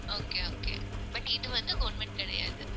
okay, okay but இது வந்து government கிடையாது